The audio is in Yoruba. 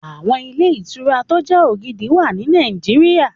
Àwọn ilé ìtura tó jẹ́ ògidì wà ní Nàìjíríyà